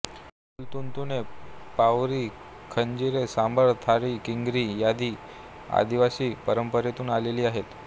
ढोल तुणतुणे पावरी खंजिरी सांबळ थाळी किंगरी आदी आदिवासी परंपरेतून आलेले आहेत